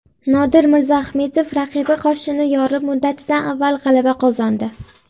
Nodir Mirzaahmedov raqibi qoshini yorib, muddatidan avval g‘alaba qozondi.